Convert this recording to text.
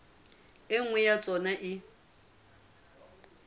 e nngwe ya tsona e